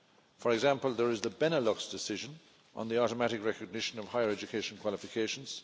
For example, there is the Benelux decision on the automatic recognition of higher education qualifications